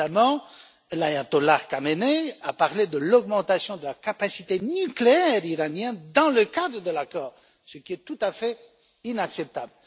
Récemment, l'ayatollah Khamenei a parlé de l'augmentation de la capacité nucléaire iranienne dans le cadre de l'accord, ce qui est tout à fait inacceptable.